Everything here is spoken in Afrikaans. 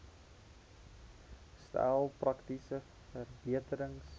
stel praktiese verbeterings